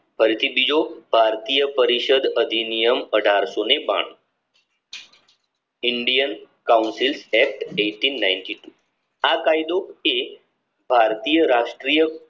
બીજો ભારતીય પરિષદ અધિનિયમ અઢારસો બાણું indian council act eighteen nightly two આ કાયદો એ ભારતીય રજક્રિય